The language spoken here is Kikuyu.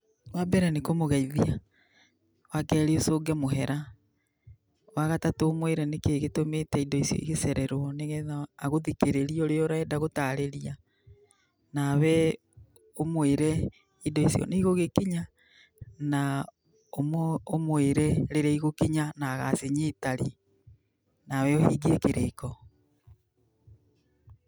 Wambere nĩ kũmũgeithia, wakerĩ, ũcũnge mũhera, wagatatũ ũmũĩre nĩkĩĩ gĩtũmĩte indo ici igĩcererũo nĩgetha agũthikĩrĩrie ũrĩa ũrenda gũtarĩria. Nawe ũmũĩre, indo icio nĩigũgĩkinya na ũmũĩre rĩrĩa igũkinya na agacinyita rĩ. Nawe ũhingie kĩrĩko.